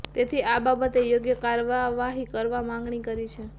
તેથી આ બાબતે યોગ્ય કાર્યવાહી કરવા માંગણી કરી છે